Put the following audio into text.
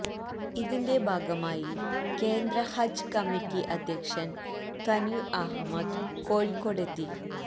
ഇതിന്റെ ഭാഗമായി കേന്ദ്ര ഹജ്ജ് കമ്മിറ്റി അധ്യക്ഷന് തന്വീര് അഹമ്മദ് കോഴിക്കോടെത്തി